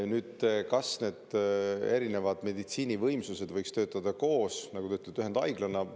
Nüüd, kas erinevad meditsiinivõimsused võiksid töötada koos, nagu te ütlete, ühendhaiglana?